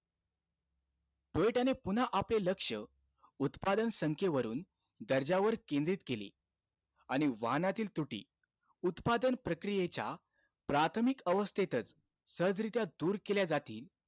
टोयोटाने पुन्हा आपले लक्ष, उत्पादन संख्येवरून दर्जावर केंद्रित केले. आणि वाहनातील त्रुटी उत्पादन प्रक्रियेच्या प्राथमिक अवस्थेतचं सहजरित्या दूर केल्या जातील.